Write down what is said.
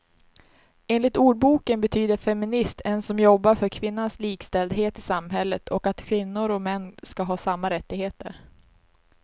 Enligt ordboken betyder feminist en som jobbar för kvinnans likställdhet i samhället och att kvinnor och män ska ha samma rättigheter.